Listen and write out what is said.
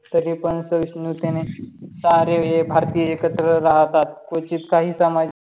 तरीपण सहिष्णणुतेने सारे भारतीय एकत्र राहतात. क्वचित काही समाज